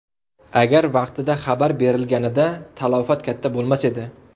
Agar vaqtida xabar berilganida talafot katta bo‘lmas edi.